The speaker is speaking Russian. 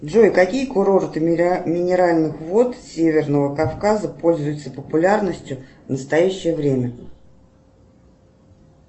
джой какие курорты минеральных вод северного кавказа пользуются популярностью в настоящее время